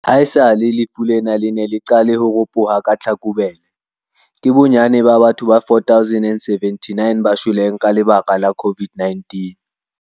Haesale lefu lena le ne le qale ho ropoha ka Tlhakubele, ke bonnyane ba batho ba 4 079 ba shweleng ka lebaka la COVID-19.